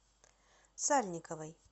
сальниковой